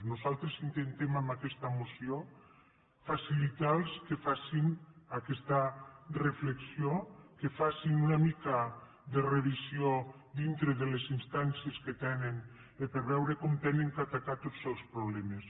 nosaltres intentem amb aquesta moció facilitarlos que facin aquesta reflexió que facin una mica de revisió dintre de les instàncies que tenen per veure com han d’atacar tots els problemes